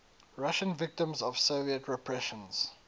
russian victims of soviet repressions